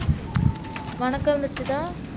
வணக்கம் ருஷிதா